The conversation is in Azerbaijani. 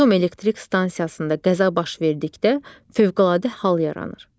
Atom elektrik stansiyasında qəza baş verdikdə fövqəladə hal yaranır.